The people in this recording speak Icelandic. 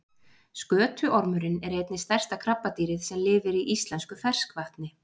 Skötuormurinn er einnig stærsta krabbadýrið sem lifir í íslensku ferskvatni.